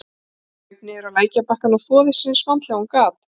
Hún kraup niður á lækjarbakkann og þvoði sér eins vandlega og hún gat.